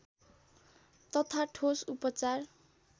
तथा ठोस उपचार